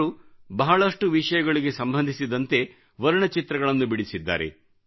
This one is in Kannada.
ಅವರು ಬಹಳಷ್ಟು ವಿಷಯಗಳಿಗೆ ಸಂಬಂಧಿಸಿದಂತೆ ವರ್ಣಚಿತ್ರಗಳನ್ನು ಬಿಡಿಸಿದ್ದಾರೆ